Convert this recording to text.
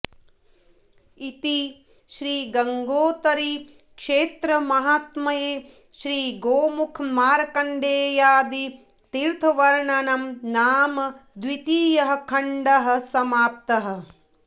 इति श्रीगंगोत्तरीक्षेत्रमाहात्म्ये श्रीगोमुखमार्कण्डेयादि तीर्थवर्णनं नाम द्वितीयः खण्डः समाप्तः